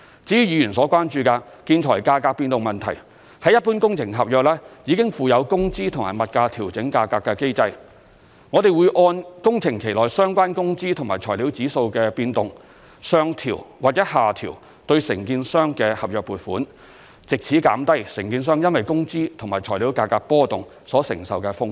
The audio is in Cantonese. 至於議員所關注的建材價格變動問題，一般工程合約已附有工資及物價調整價格的機制，我們會按工程期內相關工資和材料指數的變動，上調或下調對承建商的合約付款，藉此減低承建商因工資和材料價格波動所承受的風險。